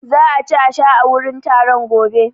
Za a ci a sha a wurin taron gobe.